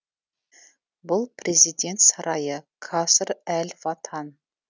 бұл президент сарайы каср әл ватан